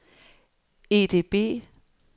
EDB